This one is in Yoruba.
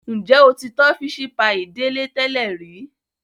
Njẹ o ti tọ́ fisi paii Dele tẹlẹ ri?